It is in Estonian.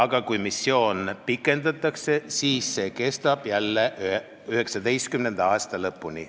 Kuid kui missiooni pikendatakse, siis see kestab 2019. aasta lõpuni.